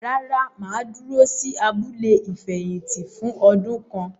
Rárá, mà á dúró sí “abúlé ìfẹ̀yìntì” fún ọdún kan.